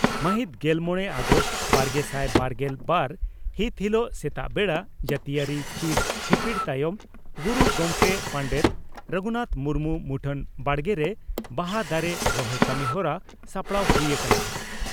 ᱢᱟᱹᱦᱤᱛ ᱜᱮᱞᱢᱚᱲᱮ ᱟᱜᱚᱥᱴ ᱵᱟᱨᱜᱮᱥᱟᱭ ᱵᱟᱨᱜᱮᱞ ᱵᱟᱨ ᱦᱤᱛ ᱦᱤᱞᱚᱜ ᱥᱮᱛᱟᱜ ᱵᱮᱲᱟ ᱡᱟᱹᱛᱤᱭᱟᱹᱨᱤ ᱪᱤᱨ ᱦᱤᱯᱤᱲ ᱛᱟᱭᱚᱢ ᱜᱩᱨᱩ ᱜᱚᱢᱠᱮ ᱯᱚᱸᱰᱮᱛ ᱨᱚᱜᱷᱩᱱᱟᱛᱷ ᱢᱩᱨᱢᱩ ᱢᱩᱴᱷᱟᱹᱱ ᱵᱟᱲᱜᱮᱨᱮ ᱯᱚᱦᱟ ᱫᱟᱨᱮ ᱨᱚᱦᱚᱭ ᱠᱟᱹᱢᱤᱦᱚᱨᱟ ᱥᱟᱯᱲᱟᱣ ᱦᱩᱭ ᱟᱠᱟᱱᱟ ᱾